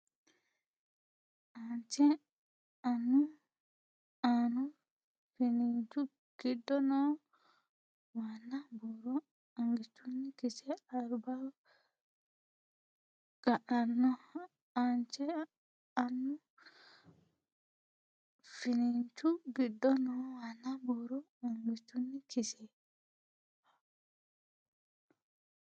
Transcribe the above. Aanche annu finiinchu giddo noo waanna buuro angichunni kise albaho ga nanno Aanche annu finiinchu giddo noo waanna buuro angichunni kise.